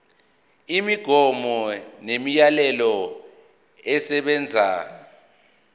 imigomo nemiyalelo esebenza